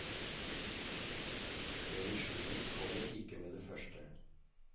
Revisjonen kommer ikke med det første.